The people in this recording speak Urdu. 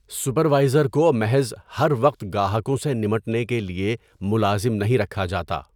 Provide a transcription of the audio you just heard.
سپروائزر کو محض ہر وقت گاہکوں سے نمٹنے کے لیے ملازم نہیں رکھا جاتا۔